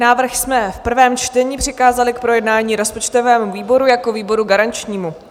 Návrh jsme v prvém čtení přikázali k projednání rozpočtovému výboru jako výboru garančnímu.